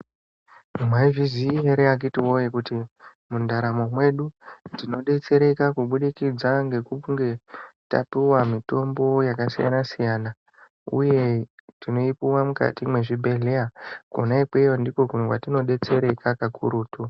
Mwaizviziya ere akhiti woye kuti mundaramo mwedu tinodetsereka kubudikidza ngekunge tapiwa mitombo yakasiyana-siyana uye tinoipiwa mukati mwezvibhedhlera, kona ikweyo ndikokumwe kwetinodetsereka kakurutu.